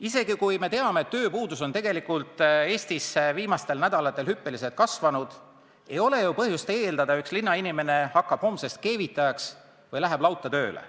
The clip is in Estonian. Isegi kui me teame, et tööpuudus on Eestis viimastel nädalatel hüppeliselt kasvanud, ei ole ju põhjust eeldada, et üks linnainimene hakkab homsest keevitajaks või läheb lauta tööle.